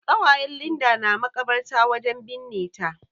ƙawayen Linda na makabarta wajen binne ta.